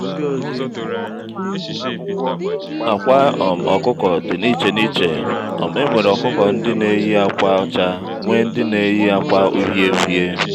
àkwà um ọkụkọ dị na iche na iche um enwere ọkụkọ ndị n'éyi àkwà ọchá nwee ndị n'éyi àkwà uhiē uhiē